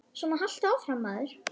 Svona haltu áfram, maður!